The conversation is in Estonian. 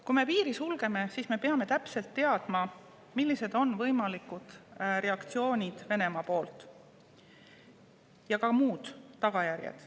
Kui me piiri sulgeme, siis me peame täpselt teadma, millised on võimalikud reaktsioonid Venemaa poolt ja ka muud tagajärjed.